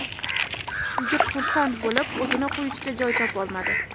Yigit xursand bo‘lib, o‘zini qo‘yishga joy topolmadi.